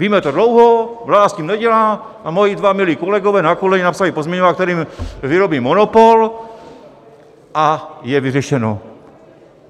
Víme to dlouho, vláda s tím nedělá a moji dva milí kolegové na koleně napsali pozměňovák, kterým vyrobí monopol, a je vyřešeno!